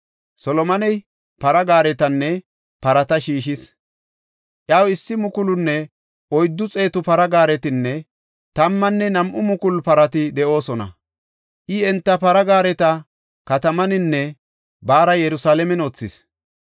Solomoney para gaaretanne parata shiishis. Iyaw issi mukulunne oyddu xeetu para gaaretinne tammanne nam7u mukulu parati de7oosona. I enta para gaareta katamataninne baara Yerusalaamen wothis.